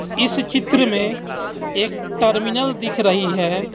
इस चित्र में एक टर्मिनल दिख रही है.